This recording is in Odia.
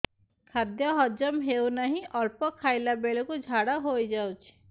ଖାଦ୍ୟ ହଜମ ହେଉ ନାହିଁ ଅଳ୍ପ ଖାଇଲା ବେଳକୁ ଝାଡ଼ା ହୋଇଯାଉଛି